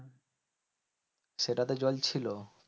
সেটাতে জল ছিল